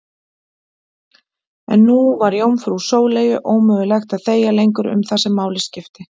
En nú var jómfrú Sóleyju ómögulegt að þegja lengur um það sem máli skipti.